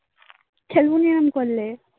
খেলবোনি এরাম করলে